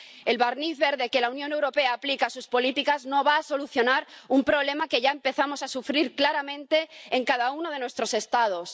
El barniz verde que la Unión Europea aplica a sus políticas no va a solucionar un problema que ya empezamos a sufrir claramente en cada uno de nuestros Estados.